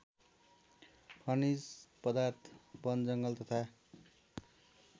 खनिज पदार्थ बनजङ्गल तथा